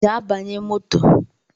Gaa banye moto!